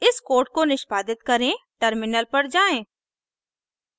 इस कोड को निष्पादित करें टर्मिनल पर जाएँ